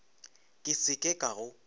ke se ke ka go